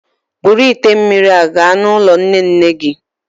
Buru ite mmiri a gaa n'ụlọ nne nne gị